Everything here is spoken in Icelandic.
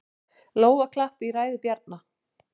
Lófaklapp í lok ræðu Bjarna